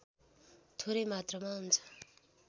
थोरै मात्रामा हुन्छ